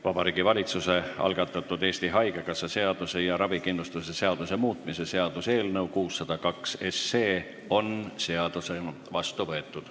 Vabariigi Valitsuse algatatud Eesti Haigekassa seaduse ja ravikindlustuse seaduse muutmise seaduse eelnõu 602 on seadusena vastu võetud.